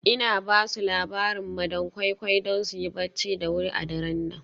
Ina ba su labarin madam koi koi don su yi barci da wuri a daren nan.